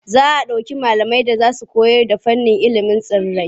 Za a ɗauki malamai da za su koyarda fannin ilimin tsirrai.